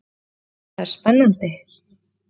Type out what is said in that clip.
Hvað þetta er spennandi!